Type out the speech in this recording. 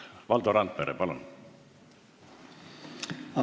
Valdo Randpere, palun!